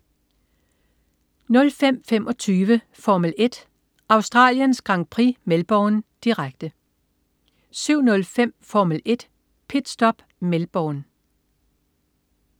05.25 Formel 1: Australiens Grand Prix Melbourne. Direkte 07.05 Formel 1: Pit Stop. Melbourne